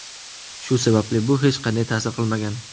Shu sababli bu hech qanday ta’sir qilmagan.